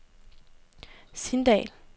Sindal